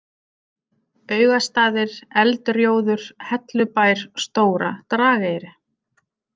Augastaðir, Eldrjóður, Hellubær, Stóra Drageyri